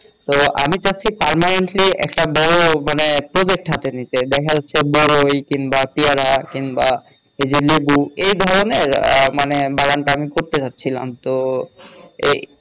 তো আমি চাচ্ছি permanently একটা বড় মানে project হাতে নিতে দেখা যাচ্ছে বরই কিংবা পেয়ারা কিংবা এই যে লেবু এধরনের আহ মানে বাগান টাগান করতে চাচ্ছিলাম তো এই